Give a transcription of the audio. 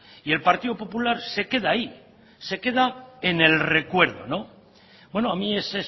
y el partido popular se queda ahí se queda en el recuerdo bueno a mí ese